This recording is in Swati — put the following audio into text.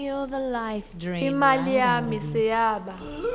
imali yami seyaba